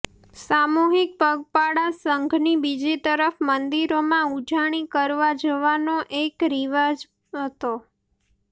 સામૂહિક પગપાળા સંઘની બીજી તરફ મંદિરોમાં ઉજાણી કરવા જવાનો પણ એક રિવાજ હતો